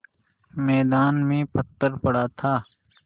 मैदान में पत्थर पड़ा था